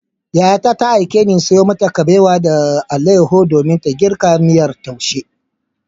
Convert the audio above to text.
Yayata ta aikeni in sayo mata kabewa da alayyahu domin ta girka miyar taushe.